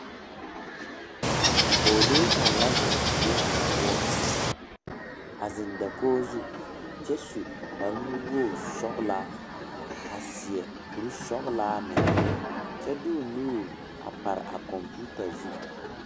Pogele kang la zeŋ die kanga poʊ. A zeŋ dakoɔ zu kyɛ su kpar nuwoge sɔlaa a seɛ kur sɔglaa meŋ. Kyɛ di o nuur a pare a komputa zu